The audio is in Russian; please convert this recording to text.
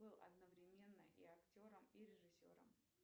был одновременно и актером и режиссером